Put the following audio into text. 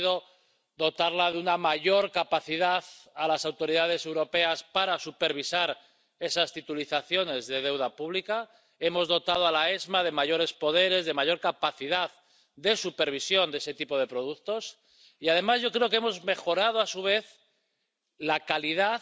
Ha conseguido dotar de una mayor capacidad a las autoridades europeas para supervisar esas titulizaciones de deuda pública, hemos dotado a la AEVM de mayores poderes, de mayor capacidad de supervisión de ese tipo de productos y, además, yo creo que hemos mejorado, a su vez, la calidad